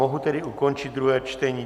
Mohu tedy ukončit druhé čtení.